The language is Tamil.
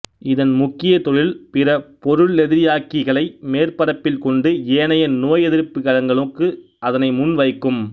இதன் முக்கிய தொழில் பிறபொருளெதிரியாக்கிகளை மேற்பரப்பில் கொண்டு ஏனைய நோயெதிர்ப்புக் கலங்களுக்கு அதனை முன் வைக்கும்